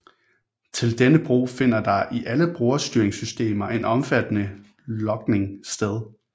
Til denne brug finder der i alle brugerstyringssystemer en omfattende logning sted